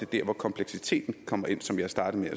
der hvor kompleksiteten kommer ind som jeg startede